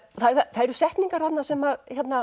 það eru setningar þarna sem